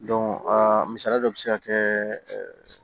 a misaliya dɔ bi se ka kɛ